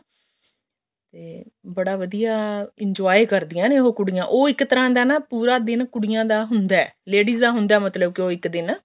ਤੇ ਬੜਾ ਵਧੀਆ enjoy ਕਰਦਿਆਂ ਨੇ ਉਹ ਕੁੜੀਆਂ ਉਹ ਇੱਕ ਤਰ੍ਹਾਂ ਦਾ ਨਾ ਪੂਰਾ ਦਿਨ ਕੁੜੀਆਂ ਦਾ ਹੁੰਦਾ ladies ਦਾ ਮਤਲਬ ਕੇ ਹੁੰਦਾ ਉਹ ਇੱਕ ਦਿਨ